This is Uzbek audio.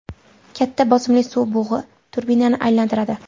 Katta bosimli suv bug‘i turbinani aylantiradi.